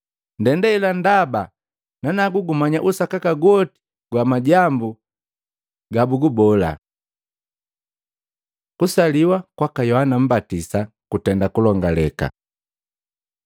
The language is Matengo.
Ndenda hela ndaba nanagu gumanya usakaka gwoti gwa majambu gabugubola. Kusaliwa kwaka Yohana Mmbatisa kutenda kulongaleka.